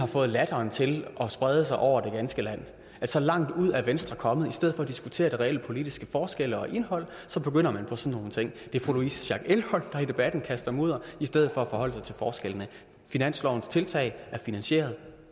fået latteren til at sprede sig over det ganske land så langt ud er venstre kommet at i stedet for at diskutere de reelle politiske forskelle og indhold begynder man på sådan nogle ting det er fru louise schack elholm der i debatten kaster mudder i stedet for at forholde sig til forskellene finanslovens tiltag er finansieret